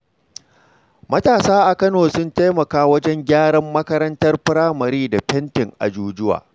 Matasa a Kano sun taimaka wajen gyaran makarantar firamare da fentin ajujuwa.